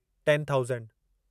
ten thousand